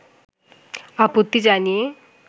আপত্তি জানিয়ে